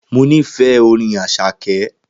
Mo nífẹ̀ẹ́ Orin Àṣàkẹ́